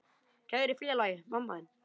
Kæri félagi, far í friði.